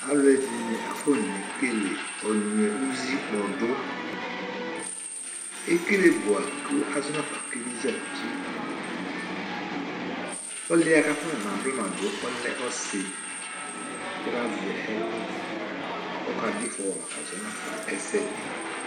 Alʋɛdìní afɔne kele anyʋɛ ʋzi kpɔdu Ekele bʋa kʋ azɔ nafa keli zɛti Ɔli yɛ kʋ afɔna blama du ɔlɛ ɔsi kʋ la zɛ ɛlu kʋ ɔka du ifɔwa kazɔ ɛsɛdi